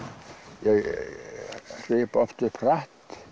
ég hripa oft upp hratt